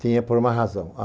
Tinha por uma razão.